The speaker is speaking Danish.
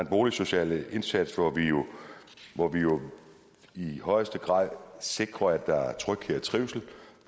boligsocial indsats hvor hvor vi jo i højeste grad sikrer at der er tryghed og trivsel